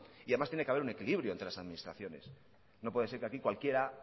y además tiene que haber un equilibrio entre las administraciones no puede ser que aquí cualquiera